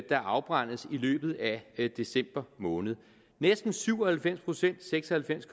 afbrændes i løbet af december måned næsten syv og halvfems procent seks og halvfems